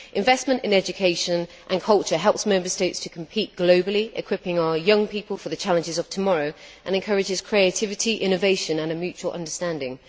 Investment in education and culture helps Member States to compete globally, equipping our young people for the challenges of tomorrow, and encourages creativity, innovation and mutual understanding.